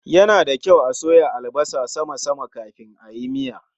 Ya na da kyau a soya albasa sama sama kafin ayi miya.